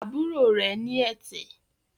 àbúrò rẹ̀ ní ẹ̀tẹ̀